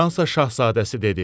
Fransa şahzadəsi dedi.